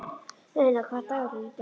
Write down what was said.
Auðna, hvaða dagur er í dag?